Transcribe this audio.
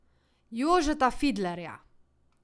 Jožeta Fidlerja.